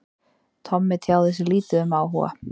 Tommi tjáði sig lítið um áhuga